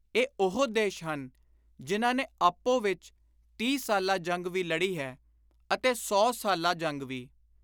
ਇਹ ਉਹੋ ਦੇਸ਼ ਹਨ ਜਿਨ੍ਹਾਂ ਨੇ ਆਪੋ ਵਿੱਚ ਤੀਹ ਸਾਲਾ ਜੰਗ ਵੀ ਲੜੀ ਹੈ ਅਤੇ ਸੌ ਸਾਲਾ (Hundred Year War) ਜੰਗ ਵੀ।